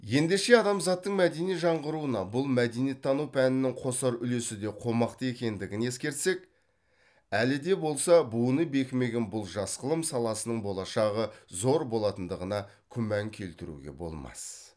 ендеше адамзаттың мәдени жаңғыруына бұл мәдениеттану пәнінің қосар үлесі де қомақты екендігін ескерсек әлі де болса буыны бекімеген бұл жас ғылым саласының болашағы зор болатындығына күмән келтіруге болмас